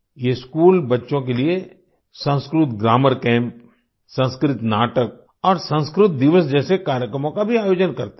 ये स्कूल बच्चों के लिए संस्कृत ग्रामर कैम्प संस्कृत नाटक और संस्कृत दिवस जैसे कार्यक्रमों का भी आयोजन भी करते हैं